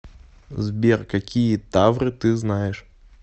сбер какие тавры ты знаешь